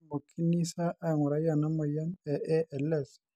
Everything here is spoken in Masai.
ketumokini sa aing'urai ena moyian e ALS?